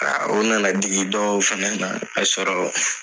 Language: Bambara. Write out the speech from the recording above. Aa o nana digi dɔw fɛnɛ nana ne sɔrɔ